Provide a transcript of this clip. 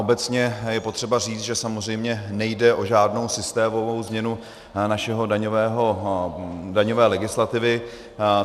Obecně je potřeba říct, že samozřejmě nejde o žádnou systémovou změnu naší daňové legislativy.